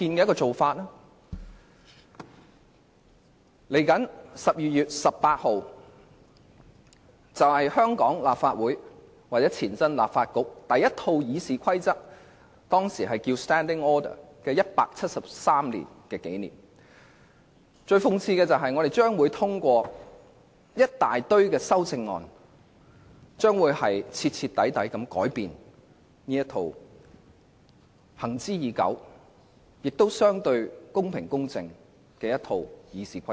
今年12月18日是香港立法會或前立法局第一套《議事規則》的173周年紀念，但諷刺的是我們將會通過一大堆修訂建議，徹底改變這套行之已久、相對公平公正的《議事規則》。